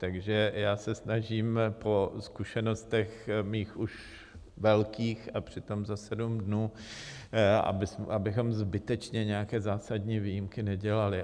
Takže já se snažím po zkušenostech mých už velkých, a přitom za sedm dnů, abychom zbytečně nějaké zásadní výjimky nedělali.